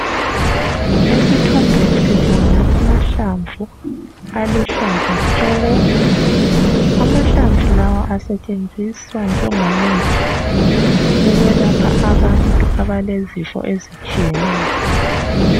Esithombeni sibona amahlamvu aluhlaza tshoko amahlamvu lawa asetshenjiswa njengomuthi ukwelapha abantu abalezifo ezitshiyeneyo .